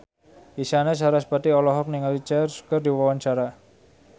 Isyana Sarasvati olohok ningali Cher keur diwawancara